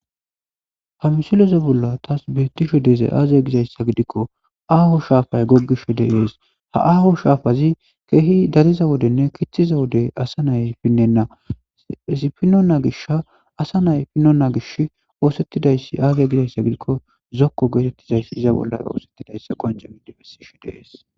Ha misileza bollan taas beettishe dizay aaze gizayssa gidikkoaaho shaafay goggishe dees.ha aaho shaafazi keehi dariza wodenne kixxiza wode asi pinnenna.izi pinnonna gishi asanay pinnonna gishi oosettidayssi aaze gizayssa gidikko zokko geetettizayssi oosettidayssakko ha misilezi bessishe dizayssi.